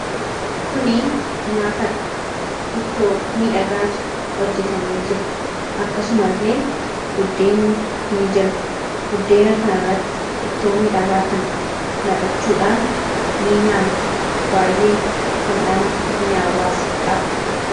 kuni nyaatadha. ittoomii dhagaatu hojjetamee jira akkasuma illee buddeenni ni jira buddeena kana irratti ittoomiidhagaa kana naqachuudhaan ni nyaanna baay'ee dhamdhama miyaawwaas qaba